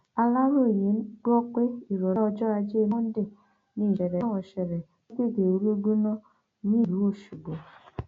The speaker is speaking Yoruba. aláròye gbọ pé ìrọlẹ ọjọ ajé monde ni ìṣẹlẹ náà ṣẹlẹ lágbègbè olúguná nílùú ọṣọgbó